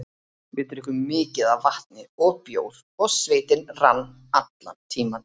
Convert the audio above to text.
Við drukkum mikið af vatni og bjór og svitinn rann allan tímann.